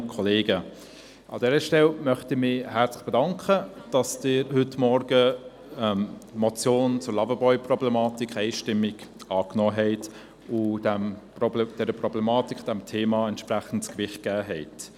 An dieser Stelle möchte ich mich herzlich bedanken, dass Sie heute Morgen die Motion zur Loverboy-Problematik einstimmig angenommen haben und somit diesem Thema entsprechend Gewicht verleihen.